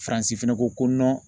FARANSI fɛnɛ ko ko